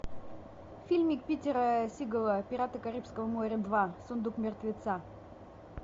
фильмик питера сигала пираты карибского моря два сундук мертвеца